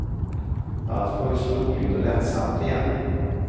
Allt var ju så roligt och lättsamt igen.